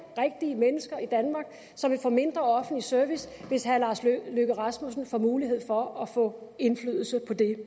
rigtige mennesker i danmark som vi få mindre offentlig service hvis herre lars løkke rasmussen får mulighed for at få indflydelse på det